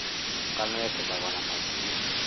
Ngano ĩgethagwo na macini